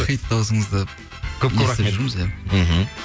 хит дауысыңызды мхм